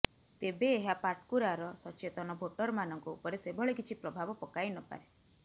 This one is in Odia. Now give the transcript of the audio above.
ତେବେ ଏହା ପାଟକୁରାର ସଚେତନ ଭୋଟରମାନଙ୍କ ଉପରେ ସେଭଳି କିଛି ପ୍ରଭାବ ପକାଇନପାରେ